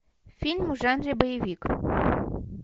фильм в жанре боевик